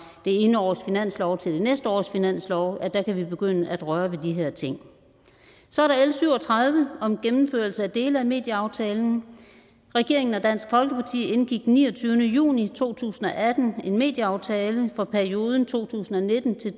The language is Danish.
det ene års finanslov til det næste års finanslov kan begynde at røre ved de her ting så er der l syv og tredive om gennemførelse af dele af medieaftalen regeringen og dansk folkeparti indgik den niogtyvende juni to tusind og atten en medieaftale for perioden to tusind og nitten til